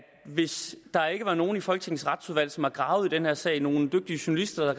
hvis der ikke var nogen i folketingets retsudvalg som havde gravet i den her sag og nogle dygtige journalister der